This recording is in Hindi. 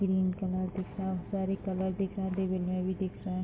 ग्रीन कलर दिख रहा सारी कलर दिख रहा है दिवार में भी दिख रहा है।